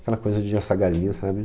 Aquela coisa de assar galinha, sabe?